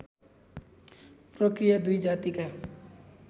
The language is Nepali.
प्रकृया दुई जातिका